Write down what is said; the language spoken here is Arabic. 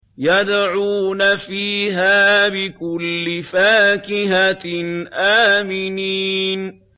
يَدْعُونَ فِيهَا بِكُلِّ فَاكِهَةٍ آمِنِينَ